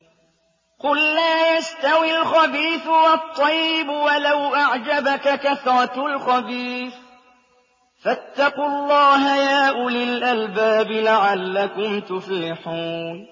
قُل لَّا يَسْتَوِي الْخَبِيثُ وَالطَّيِّبُ وَلَوْ أَعْجَبَكَ كَثْرَةُ الْخَبِيثِ ۚ فَاتَّقُوا اللَّهَ يَا أُولِي الْأَلْبَابِ لَعَلَّكُمْ تُفْلِحُونَ